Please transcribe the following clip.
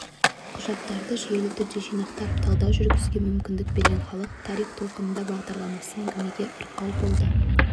құжаттарды жүйелі түрде жинақтап талдау жүргізуге мүмкіндік берген халық тарих толқынында бағдарламасы әңгімеге арқау болды